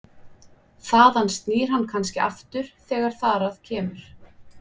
Þaðan snýr hann kannski aftur þegar þar að kemur.